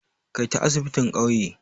Kai ta asibitin ƙauye!